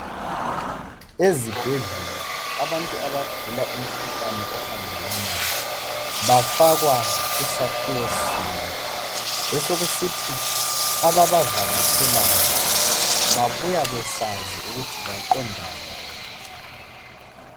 Ezibhedlela abantu abagula umkhuhlane ohambelanayo bafakwa kusakhiwo sinye, besekusithi ababavakatshelayo babuya besazi ukuthi baqonda ngaphi.